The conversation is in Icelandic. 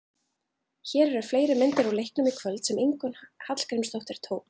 Hér eru fleiri myndir úr leiknum í kvöld sem Ingunn Hallgrímsdóttir tók.